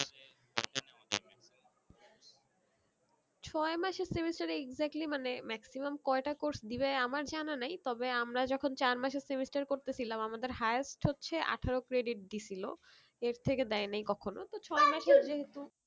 ছয় মাসে semester এ exactly মানে maximum কয়েটা course দিবে আমার জানা নেই তবে আমরা যখন চার মাসের semester করতেছিলাম আমাদের highest হচ্ছে আঠেরো credit দিছিলো এর থেকে দেয় নি কখনো তো ছয় মাসের যেহুতু